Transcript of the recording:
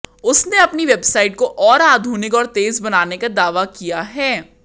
उसने अपनी वेबसाइट को और आधुनिक और तेज बनाने का दावा किया है